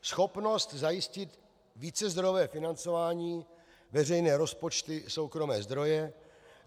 Schopnost zajistit vícezdrojové financování, veřejné rozpočty, soukromé zdroje.